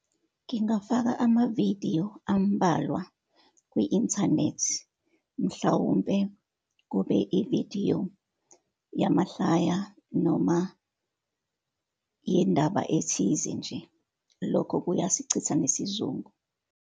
Ngingafaka amavidiyo ambalwa kwi-Inthanethi, mhlawumpe kube ividiyo yamahlaya, noma yendaba ethize nje. Lokho kuya sichitha nesizungu.